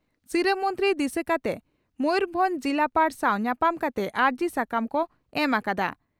ᱥᱤᱨᱟᱹ ᱢᱚᱱᱛᱨᱤ ᱫᱤᱥᱟᱹ ᱠᱟᱛᱮ ᱢᱚᱭᱩᱨᱵᱷᱚᱸᱡᱽ ᱡᱤᱞᱟᱯᱟᱲ ᱥᱟᱣ ᱧᱟᱯᱟᱢ ᱠᱟᱛᱮ ᱟᱹᱨᱡᱤ ᱥᱟᱠᱟᱢ ᱠᱚ ᱮᱢ ᱟᱠᱟᱫᱼᱟ ᱾